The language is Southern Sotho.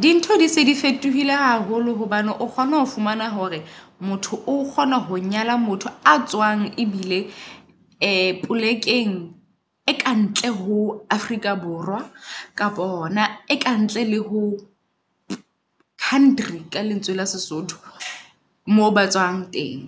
Di ntho di se di fetohile haholo hobane o kgone ho fumana hore motho o kgona ho nyala motho a tswang e bile polekeng e kantle ho Afrika Borwa. Kapa yona e kantle le ho country ka lentswe la Sesotho moo batswang teng.